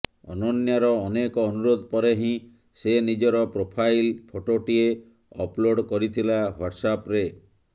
ଅନନ୍ୟାର ଅନେକ ଅନୁରୋଧ ପରେ ହିଁ ସେ ନିଜର ପ୍ରୋଫାଇଲ ଫଟୋଟିଏ ଅପଲୋଡ଼ କରିଥିଲା ହ୍ୱାଟ୍ସ୍ଆପ୍ରେ